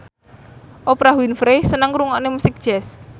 Oprah Winfrey seneng ngrungokne musik jazz